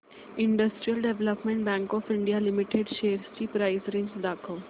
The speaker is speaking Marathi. industrial development bank of India limited shares ची प्राइस रेंज दाखव